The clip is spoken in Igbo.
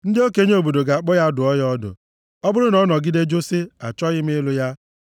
Ndị okenye obodo ga-akpọ ya, dụọ ya ọdụ. Ọ bụrụ na ọ nọgide jụ sị, “Achọghị m ịlụ ya,”